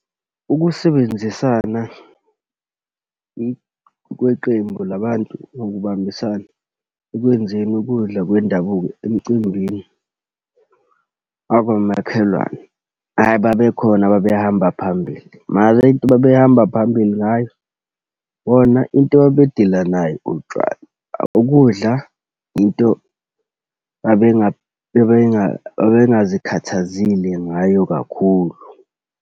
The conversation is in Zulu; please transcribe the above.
Ukusebenzisana kweqembu la bantu, nokubambisana ekwenzeni ukudla kwendabuko emcimbini wakamakhelwane. Hhayi, babekhona ababehamba phambili. Mara into babehamba phambili ngayo, bona into ababedila nayo utshwala, ukudla into babengazikhathazile ngayo kakhulu.